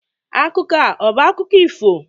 Akụkọ a ọ bụ akụkọ ifo?